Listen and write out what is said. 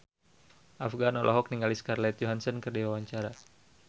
Afgan olohok ningali Scarlett Johansson keur diwawancara